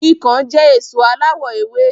Ikán jẹ́ èso aláwọ èwe